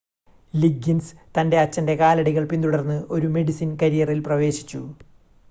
Liggins തൻ്റെ അച്ഛൻ്റെ കാലടികൾ പിന്തുടർന്ന് ഒരു മെഡിസിൻ കരിയറിൽ പ്രവേശിച്ചു